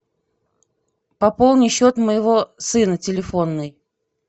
пополни счет моего сына телефонный